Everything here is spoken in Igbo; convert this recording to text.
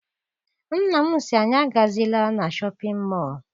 Nna m sị anyị agazila na Shọpịn mọọ.